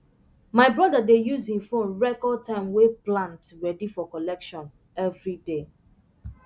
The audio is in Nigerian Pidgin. my brother dey use he phone record time way plant ready for collection everyday